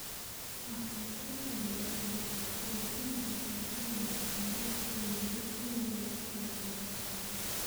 Wax-soo-saarka beeruhu waxa uu u baahan yahay in si wanaagsan loo kaydiyo si looga fogaado khasaaraha.